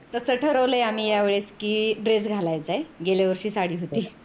तस ठरवलय आम्ही यावेळेस कि dress घालायचाय गेल्यावर्षी साडी होती